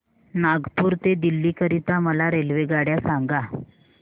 नागपुर ते दिल्ली करीता मला रेल्वेगाड्या सांगा